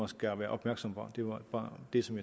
skal være opmærksom på det var bare det som